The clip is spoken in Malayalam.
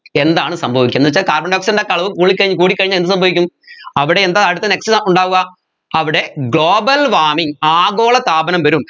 എന്താണ് സംഭവിക്കുന്നെ എന്നുവെച്ച carbon dioxide ൻറെ ഒക്കെ അളവ് കൂടിക്കഴിഞ്ഞ് കൂടിക്കഴിഞ്ഞാൽ എന്ത് സംഭവിക്കും അവിടെ എന്താ അടുത്ത next ഉണ്ടാവുക അവിടെ global warming ആഗോളതാപനം വരും